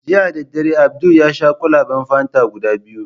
Jiya dadare, Abdul yasha kwalaben fanta guda biyu.